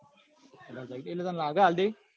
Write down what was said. એટલે તને લાગે છે આપી દેશે?